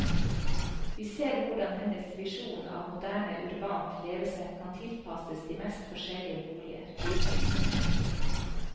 Vi ser hvordan hennes visjon av moderne urbant levesett kan tilpasses de mest forskjellige boliger.